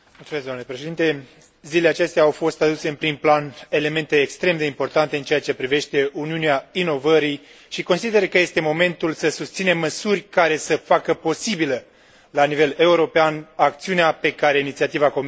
Zilele acestea au fost aduse în prim plan elemente extrem de importante în ceea ce privește Uniunea inovării și consider că este momentul să susținem măsuri care să facă posibilă, la nivel european, acțiunea pe care inițiativa Comisiei a descris o.